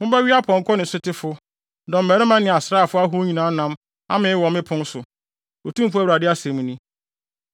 Mobɛwe apɔnkɔ ne sotefo, dɔmmarima ne asraafo ahorow nyinaa nam amee wɔ me pon so,’ Otumfo Awurade asɛm ni.